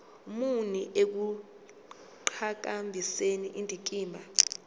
muni ekuqhakambiseni indikimba